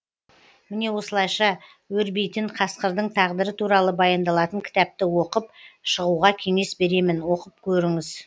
міне осылайша өрбейтін қасқырдың тағдыры туралы баяндалатын кітапты оқып шығуға кеңес беремін оқып көріңіз